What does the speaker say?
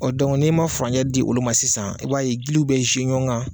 Ɔ dɔnki n' i ma furncɛ di olu ma sisan, i b'a ye gili bɛ ɲɔgɔn kan